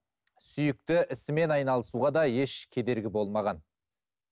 сүйікті ісімен айналысуға де еш кедергі болмаған